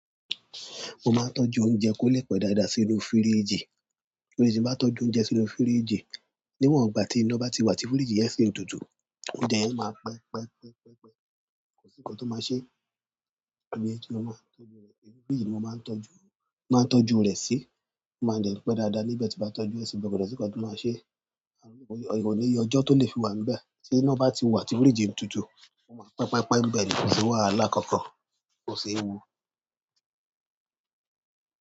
Mo máa ń tọ́jú oúnjẹ kó lè pẹ́ dáadáa sínú fíríjì. Ni ìsìn tí mo bá tójú oúnjẹ sí inú fírííjìì, níwòn ìgbà tí iná báti wa tí fíríìjì yẹn síì ń tutù. Oúnjẹ yẹn máa pẹ́ pẹ́ pẹ́. Kò sí ńǹkan tó máa ṣe. Fíríjì ni mo máa ń tọ́jú, máa ń tọ́jú rẹ̀ sí. Ó máa ń dè n pẹ́ dáadáa nígbà tí bá tọ́jú ẹ́, ṣùgbọ́n kò dẹ̀ sí nǹkan tó máa ṣe. Kò níye ọjọ́ tó lè fi wà níbẹ̀. Tí iná bá ti wà tí fíríjì ń tutù, ó máa pẹ́, pẹ́, pẹ́ níbẹ̀ ni kò sì wàhálà kankan, kò ṣí ewu.